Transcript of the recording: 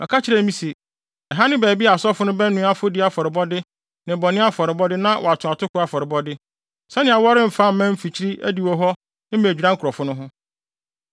Ɔka kyerɛɛ me se: “Ɛha ne baabi a asɔfo no bɛnoa afɔdi afɔrebɔde ne bɔne afɔrebɔde na wɔato atoko afɔrebɔde, sɛnea wɔremfa mma mfikyiri adiwo hɔ mmedwira nkurɔfo no ho.”